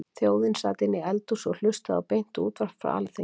Þjóðin sat inni í eldhúsi og hlustaði á beint útvarp frá Alþingi.